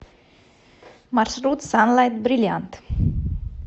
маршрут санлайт бриллиант